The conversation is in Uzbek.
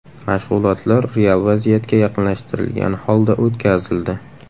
Mashg‘ulotlar real vaziyatga yaqinlashtirilgan holda o‘tkazildi.